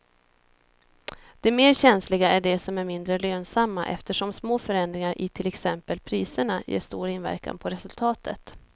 De mer känsliga är de som är mindre lönsamma eftersom små förändringar i till exempel priserna ger stor inverkan på resultatet.